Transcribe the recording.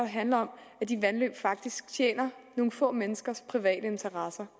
handler om at de vandløb faktisk tjener nogle få menneskers private interesser